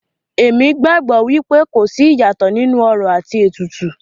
Èmi gbàgbọ́ wípé kò sí ìyàtọ̀ nínú orò àti ètùtù.